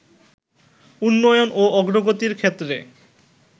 উন্নয়ন ও অগ্রগতির ক্ষেত্রে